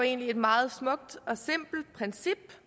egentlig et meget smukt og simpelt princip